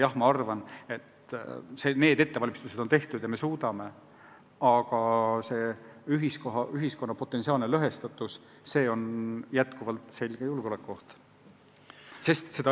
Jah, ma arvan, et need ettevalmistused on tehtud ja me suudame inforünnakule vastu panna, aga ühiskonna potentsiaalne lõhestatus on endiselt julgeolekuoht.